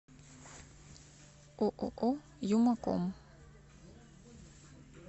ооо юмаком